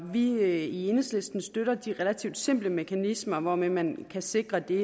vi i enhedslisten støtter de relativt simple mekanismer hvormed man kan sikre det